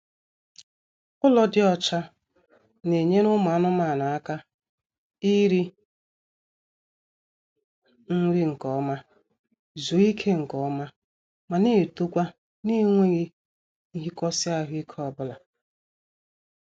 Ụlọ dị ọcha na-enyere ụmụ anụmaanụ aka iri nri nkeọma, zuo ike nkeọma ma na-etokwa n'enweghị nhikosi ahụike obula